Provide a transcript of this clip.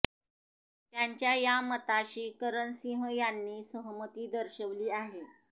त्यांच्या या मताशी करण सिंह यांनी सहमती दर्शवली आहे